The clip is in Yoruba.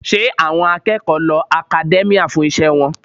Ṣé àwọn akẹ́kọ̀ọ́ lo academia fún iṣẹ́ wọn?